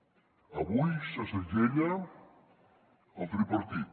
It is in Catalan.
avui se segella el tripartit